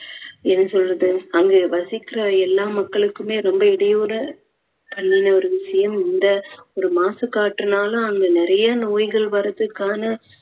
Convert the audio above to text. என்ன சொல்றது அங்க வசிக்கிற எல்லா மக்களுக்குமே ரொம்ப இடையூற பண்ணின ஒரு விஷயம் இந்த ஒரு மாசுக்காற்றுனால அங்க நிறைய நோய்கள் வர்றதுக்கான